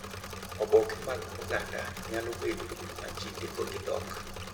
Oboke mag oganda nyalo bedo ma ji ndiko gi dhok.